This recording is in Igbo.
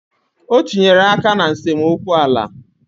O tinyere aka na nsemokwu ala